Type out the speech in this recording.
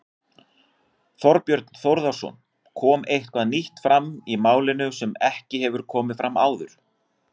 Þorbjörn Þórðarson: Kom eitthvað nýtt fram í málinu sem ekki hefur komið fram áður?